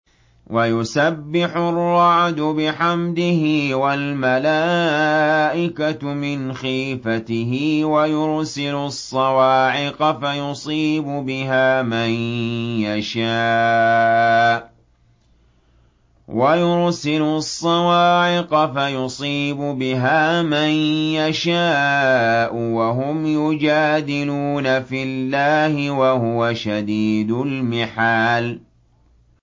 وَيُسَبِّحُ الرَّعْدُ بِحَمْدِهِ وَالْمَلَائِكَةُ مِنْ خِيفَتِهِ وَيُرْسِلُ الصَّوَاعِقَ فَيُصِيبُ بِهَا مَن يَشَاءُ وَهُمْ يُجَادِلُونَ فِي اللَّهِ وَهُوَ شَدِيدُ الْمِحَالِ